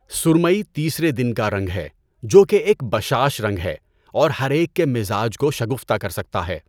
سرمئی تیسرے دن کا رنگ ہے، جو کہ ایک بشاش رنگ ہے اور ہر ایک کے مزاج کو شگفتہ کر سکتا ہے۔